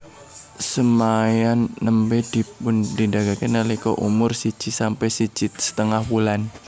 Semaian nembé dipunpindhahaken nalika umur siji sampe siji setengah wulan